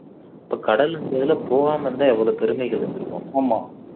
அப்போ கடல் இந்த இதுல போகாம இருந்தா எவ்வளவு பெருமைகள் இருந்திருக்கும்